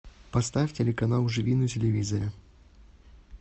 поставь телеканал живи на телевизоре